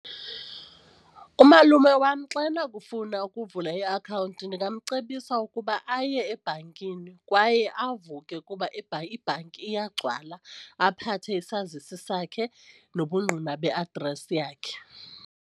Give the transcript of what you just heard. Umalume wam xa enokufuna ukuvula iakhawunti ndingamcebisa ukuba aye ebhankini kwaye avuke ukuba ibhanki iyagcwala, aphathe isazisi sakhe nobungqina be-address yakhe.